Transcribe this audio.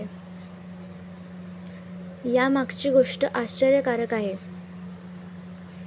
यामागची गोष्ट आश्चर्यकारक आहे.